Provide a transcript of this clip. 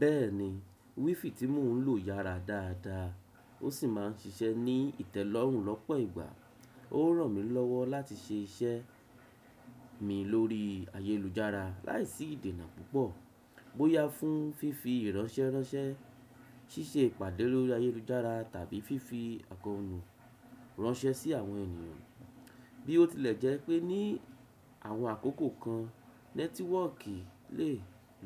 Bẹ́ẹ̀ni, WiFi tí mò ń lò yára dáadáa o sì máa ń ṣiṣẹ́ ní ìtẹ́lọ́rùn lọ́pọ̀ ìgbà. Ó ràn mí lọ́wọ́ láti ṣe iṣẹ́ mi lórí ayélujára láìsí ìdènà púpọ̀. Bóyá fún fífi ìránṣẹ́ránṣẹ́, ṣíṣe ìpàdé lórí ayélujára tàbí fífi àkọ́nú ránṣẹ́ sí àwọn ènìyàn. Bí ó tilẹ̀ jẹ́ pé ní àwọn àkókò kan network le